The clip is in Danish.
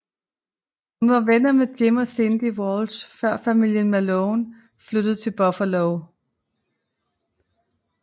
Hun var venner med Jim og Cindy Walsh før familien Malone flyttede til Buffalo